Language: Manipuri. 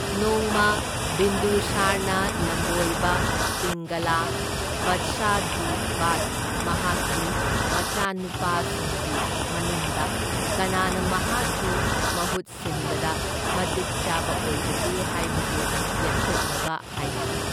ꯅꯣꯡꯃ, ꯕꯤꯟꯗꯨꯁꯥꯔꯅ ꯂꯝꯕꯣꯏꯕ ꯄꯤꯡꯒꯂꯥ ꯕꯠꯁꯥꯖꯤꯕꯥꯗ ꯃꯍꯥꯛꯀꯤ ꯃꯆꯥꯅꯨꯄꯥꯁꯤꯡꯒꯤ ꯃꯅꯨꯡꯗ ꯀꯅꯥꯅ ꯃꯍꯥꯛꯀꯤ ꯃꯍꯨꯠ ꯁꯤꯟꯕꯗ ꯃꯇꯤꯛ ꯆꯥꯕ ꯑꯣꯏꯕꯒꯦ ꯍꯥꯏꯕꯗꯨ ꯂꯦꯞꯊꯣꯛꯅꯕ ꯍꯥꯏꯈꯤ꯫